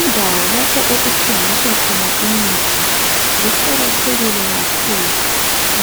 Indawo lapho okuthengiswa khona imithi ziqakathekile kakhulu